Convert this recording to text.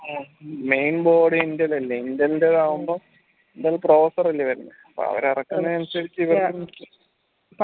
mainboard ൻറെതല്ലേ ആകുമ്പം അല്ലെ വരുന്നേ അവർ ഇറക്കുന്നേനുസരിച്ച്